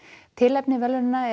tilefni verðlaunanna er